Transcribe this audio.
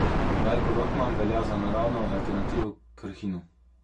Rajko Rotman velja za naravno alternativo Krhinu.